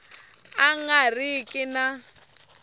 a nga ri ki na